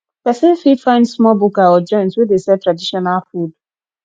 person fit find small bukka or joint wey dey sell traditional food